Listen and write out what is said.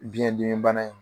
Biyɛn dimi bana in